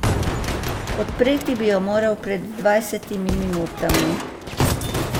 Odpreti bi jo moral pred dvajsetimi minutami.